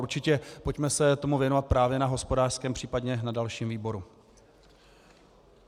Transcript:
Určitě pojďme se tomu věnovat právě na hospodářském, případně na dalším výboru.